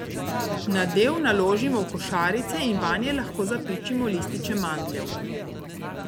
Nadev naložimo v košarice in vanje lahko zapičimo lističe mandljev.